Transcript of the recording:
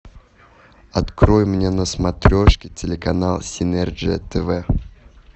открой мне на смотрешке телеканал синерджия тв